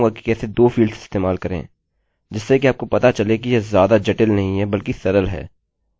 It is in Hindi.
मैं अब आपको दिखाऊँगा कि कैसे 2 फील्ड्स इस्तेमाल करें जिससे कि आपको पता चले कि यह ज्यादा जटिल नहीं है बल्कि सरल है